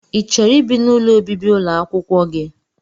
i chọrọ ibi n'ụlọ ọbibi ụlọakwụkwọ gị?